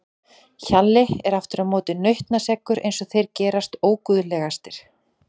Hjalli er aftur á móti nautnaseggur eins og þeir gerast óguðlegastir.